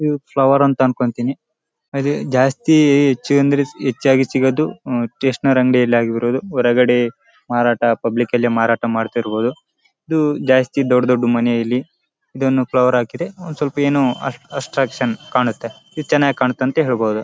ಇವು ಫ್ಲವರ್ ಅಂತ ಅಂದ್ಕೋತೀನಿ ಇದು ಜಾಸ್ತಿ ಹೆಚ್ಚಾಗಿ ಸಿಗೋದು ಸ್ಟೇಷನರಿ ಅಂಗಡಿಲಿ ಆಗಿರಬಹುದು ಹೊರಗಡೆ ಪಬ್ಲಿಕ್ ಅಲ್ಲಿ ಮಾರಾಟ ಮಾಡ್ತಿರಬಹುದು ಜಾಸ್ತಿ ದೊಡ್ಡ ದೊಡ್ಡ ಮನೆಯಲ್ಲಿ ಇದನ್ನು ಫ್ಲವರ್ ಹಾಕಿದ್ರೆ ಏನೋ ಒಂದು ಅಟ್ರಾಕ್ಷನ್ ಕಾಣುತ ಇದು ಚೆನ್ನಾಗಿ ಕಾಣುತ್ತೆ ಅಂತ ಹೇಳಬಹುದು.